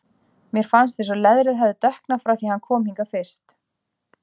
Mér fannst eins og leðrið hefði dökknað frá því hann kom hingað fyrst.